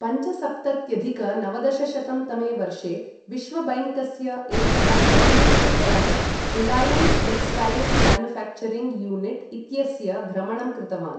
पञ्चसप्तत्यधिक नवदशशतं तमे वर्षे विश्वबैङ्कस्य एकः तकनीकीदलः 'रिलायन्स टेक्सटाइल्स्' मैन्युफैक्चरिंग् यूनिट् इत्यस्य भ्रमणं कृतवान् ।